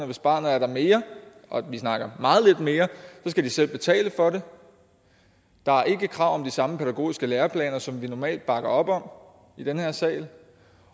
hvis barnet er der mere og vi snakker meget lidt mere skal de selv betale for det der er ikke krav om de samme pædagogiske læreplaner som vi normalt bakker op om i den her sal